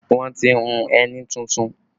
Wọn ti hùn ẹní tuntun